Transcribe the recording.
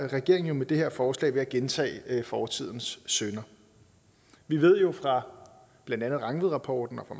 regeringen er med det her forslag ved at gentage fortidens synder vi ved jo fra blandt andet rangvidrapporten og